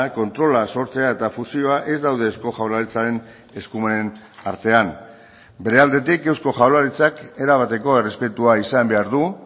kontrola sortzea eta fusioa ez daude eusko jaurlaritzaren eskumenen artean bere aldetik eusko jaurlaritzak erabateko errespetua izan behar du